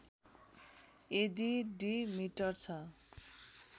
यदि diameter छ